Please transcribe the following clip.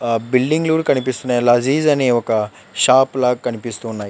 ఆ బిల్డింగ్ లు కనిపిస్తున్నాయ్ లజీజ్ అని ఒక షాప్ లాగా కనిపిస్తున్నాయ్.